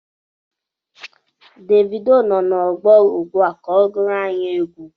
Devido nọ na ọgbọ ugbua ka ọ gụọrọ anyi egwu